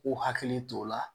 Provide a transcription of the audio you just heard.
K'u hakili t'o la